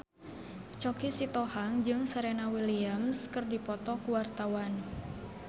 Choky Sitohang jeung Serena Williams keur dipoto ku wartawan